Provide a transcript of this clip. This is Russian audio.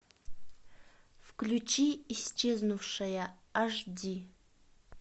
включи исчезнувшая аш ди